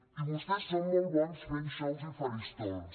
i vostès són molt bons fent xous i faristols